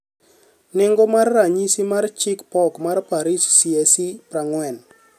Nengo mar ranyisi mar chich pok mar Paris CAC-40